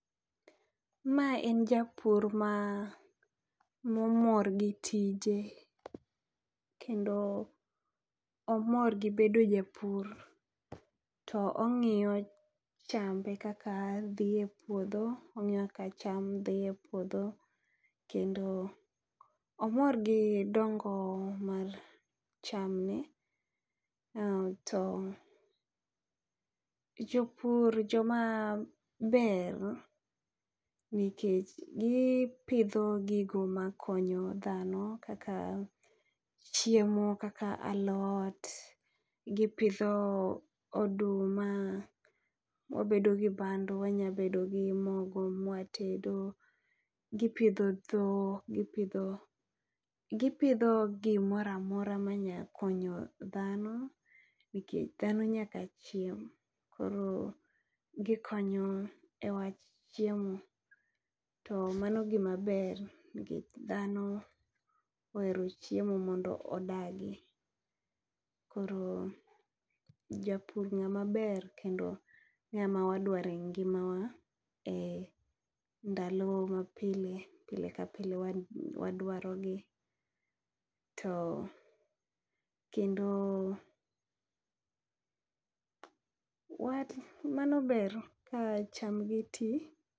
Ma en japur ma momor gi tije, kendo omor gi bedo japur. To ong'iyo chambe kaka dhi e puodho, ong'iyo chambe kaka dhi e puodho. Kendo omor gi dongo mar cham ne, to jopur joma ber nikech gipidho gigo ma konyo dhano kaka chiemo kaka alot, gipidho oduma. Wabedo gi bando, wanya bedo gi mogo mwatedo. Gipidho dhok, gipidho gimora mora ma nya konyo dhano nikech dhano nyaka chiem. Koro gikonyo e wach chiemo, to mano gima ber nikech dhano ohero chiemo mondo odagi. Koro japur ng'ama ber kendo ng'ama wadware ngima wa e ndalo ma pile. Pile ka pile wadwaro gi, to kendo mano ber ka cham gi ti.